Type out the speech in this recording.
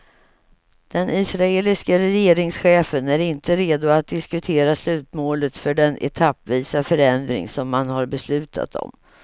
Den israeliske regeringschefen är inte redo att diskutera slutmålet för den etappvisa förändring som man har beslutat om.